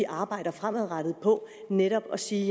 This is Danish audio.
arbejder fremadrettet på netop at sige